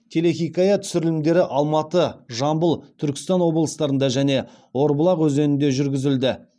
телехикая түсірілімдері алматы жамбыл түркістан облыстарында және орбұлақ өзенінде жүргізілді